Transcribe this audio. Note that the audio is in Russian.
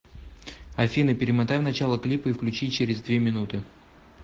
афина перемотай в начало клипа и включи через две минуты